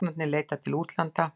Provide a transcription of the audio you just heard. Læknarnir leita til útlanda